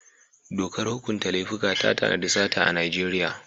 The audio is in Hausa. Dokar hukunta laifuka ta tanadi sata a Najeriya.